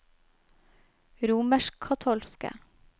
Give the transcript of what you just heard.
romerskkatolske